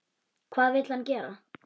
Hvað vill hann gera?